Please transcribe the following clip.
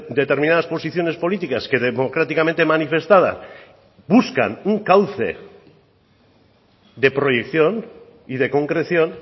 determinadas posiciones políticas que democráticamente manifestada buscan un cauce de proyección y de concreción